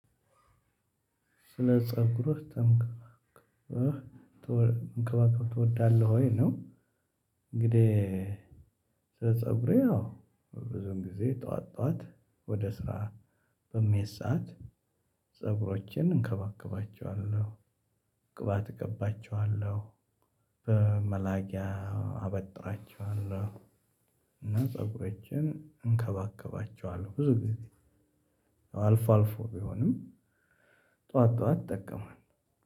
ስለ ፀጉርህ ተንከባክበህ ትወዳለህ ወይ ነው? እንግዲህ ስለ ፀጉሬ አዎ ብዙን ጊዜ ጥዋት ጥዋት ወደ ስራ በምሄድ ሰዓት ፀጉሮቼን እንከባከባቸዋለሁ። ቅባት እቀባቸዋለሁ። በመላጊያ አበጥራቸዋለሁ። እና ፀጉሮቼንን እንከባከባቸዋለሁ ብዙ ጊዜ አልፎ አልፎ ቢሆንም ጥዋት ጥዋት እጠቀማለሁ።